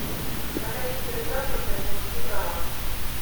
на какие виды транспорта не нужны права